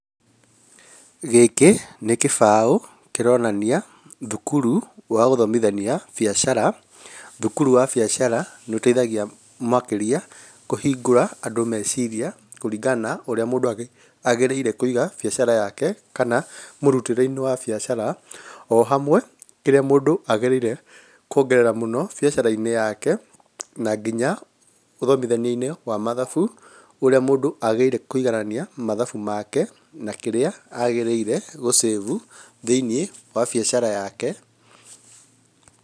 Gĩkĩ nĩ kĩbaũ kĩronania thukuru wa gũthomithania biacara, thukuru wa biacara nĩ ũteithagia makĩrĩa kũhingũra andũ meciria kũringana na ũrĩa mũndũ agĩrĩire kũiga biacara yake, kana mũrutĩre-inĩ wa biacara, ohamwe kĩrĩa mũndũ agĩrĩire kuongerera mũno biacara-inĩ yake, na nginya gũthomithania-inĩ wa mathabu, ũrĩa mũndũ agĩrĩire kũiganania mathabu make na kĩrĩa agĩrĩire gũ save thĩiniĩ wa biacara yake.